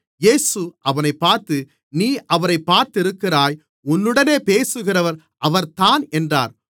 இயேசு அவனைப் பார்த்து நீ அவரைப் பார்த்திருக்கிறாய் உன்னுடனே பேசுகிறவர் அவர்தான் என்றார்